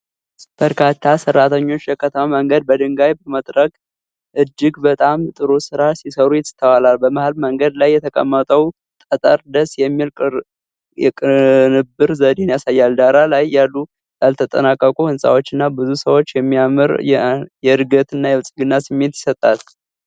በርካታ ሠራተኞች የከተማ መንገድን በድንጋይ በመጥረብ እጅግ በጣም ጥሩ ሥራ ሲሠሩ ይስተዋላል። በመሃል መንገድ ላይ የተቀመጠው ጠጠር ደስ የሚል የቅንብር ዘዴን ያሳያል። ዳራ ላይ ያሉ ያልተጠናቀቁ ሕንፃዎችና ብዙ ሰዎች የሚያምር የእድገትና የብልጽግና ስሜት ይሰጣል።